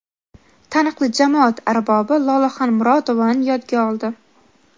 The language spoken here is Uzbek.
taniqli jamoat arbobi Lolaxon Murodovani yodga oldi.